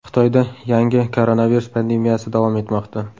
Xitoyda yangi koronavirus pandemiyasi davom etmoqda.